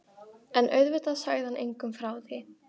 En auðvitað sagði hann engum frá því.